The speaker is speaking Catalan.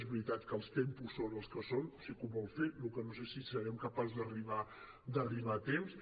és veritat també que els tempos són els que són sí que ho vol fer el que no sé és si serem capaços d’arribar a temps